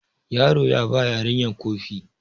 yaro ya ba yarinya Kofi